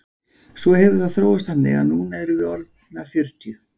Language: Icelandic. Svo hefur það þróast þannig að núna erum við orðnar fjörutíu.